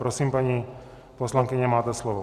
Prosím, paní poslankyně, máte slovo.